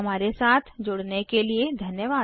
हमारे साथ जुड़ने के लिए धन्यवाद